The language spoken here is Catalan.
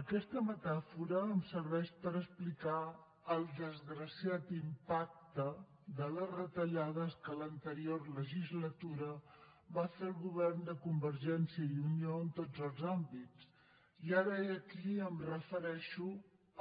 aquesta metàfora em serveix per explicar el desgraciat impacte de les retallades que l’anterior legislatura va fer el govern de convergència i unió en tots els àmbits i ara i aquí em refereixo